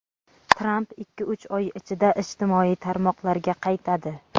Tramp ikki-uch oy ichida ijtimoiy tarmoqlarga qaytadi.